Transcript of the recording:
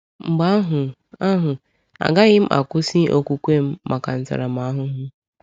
Mgbe ahụ, ahụ, agaghị m akwụsị okwukwe m maka ntaramahụhụ.